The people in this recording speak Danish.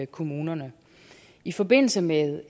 kommunerne i forbindelse med